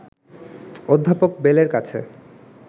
অধ্যাপক বেল-এর কাছে